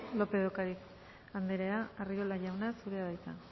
lópez de ocariz anderea arriola jauna zurea da hitza